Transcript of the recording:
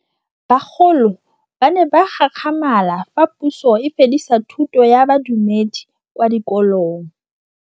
Bagolo ba ne ba gakgamala fa Pusô e fedisa thutô ya Bodumedi kwa dikolong.